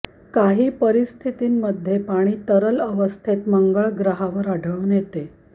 काही परिस्थितींमध्ये पाणी तरल अवस्थेत मंगळ ग्रहावर आढळून येतं